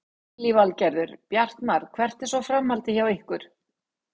Lillý Valgerður: Bjartmar hvert er svo framhaldið hjá ykkur?